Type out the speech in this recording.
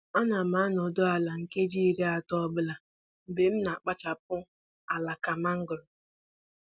Ana m anọdụ ala nkeji iri atọ ọbụla mgbe m na-akpachapụ alaka mangoro.